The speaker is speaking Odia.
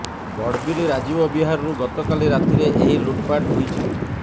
ବଡ଼ବିଲ୍ ରାଜୀବ ବିହାରରୁ ଗତକାଲି ରାତିରେ ଏହି ଲୁଟପାଟ ହୋଇଛି